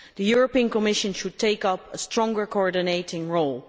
The Commission should take up a stronger coordinating role.